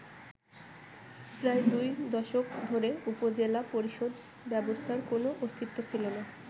প্রায় দুই দশক ধরে উপজেলা পরিষদ ব্যবস্থার কোন অস্তিত্ব ছিল না।